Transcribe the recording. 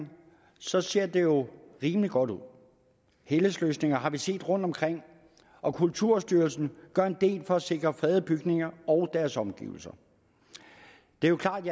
ser ser det jo rimelig godt ud helhedsløsninger har vi set rundtomkring og kulturstyrelsen gør en del for at sikre fredede bygninger og deres omgivelser det er jo klart